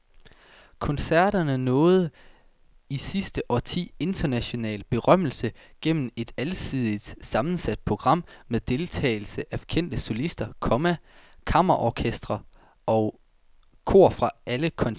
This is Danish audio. Koncerterne nåede i sidste årti international berømmelse gennem et alsidigt sammensat program med deltagelse af kendte solister, komma kammerorkestre og kor fra alle kontinenter. punktum